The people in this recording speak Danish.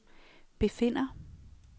befinder